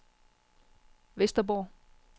Vesterborg